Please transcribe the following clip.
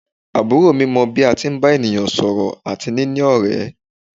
Àbúrò mi mọ bí a tí ń bá ènìyàn sọ̀rọ̀ àti níní ọ̀rẹ́.